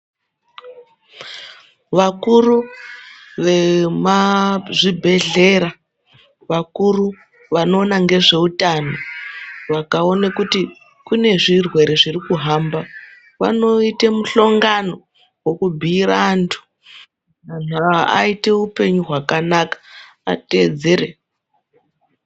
Vakuru vezvibhehlera , vakuru vanoona ngezveutano vakaona kuti kune zvirwere zviri kufamba, vanoite mushongano wekubhuyira vantu kuti vaite upenyu hwakanaka kuti vateedzere zvinodiwa pakurwisa zvitenda.